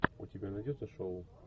у тебя найдется шоу